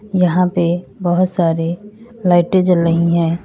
यहां पे बहोत सारे लाइटें जल रही हैं।